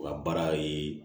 U ka baara ye